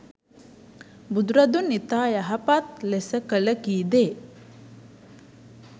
බුදුරදුන් ඉතා යහපත් ලෙස කළ, කීදේ,